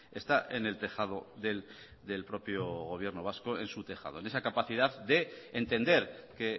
está en el tejado del propio gobierno vasco en su tejado en esa capacidad de entender que